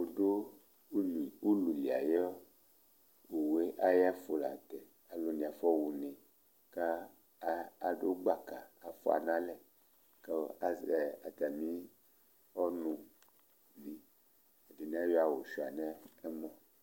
Ʋlʋli ayʋ owu ye ayʋ ɛfʋ la ntɛ Alu ni afɔha ʋne kʋ adu gbaka fʋa nalɛ kʋ azɛ atami ɔnu Ɛdiní ayʋ sʋia nʋ ɛmɔ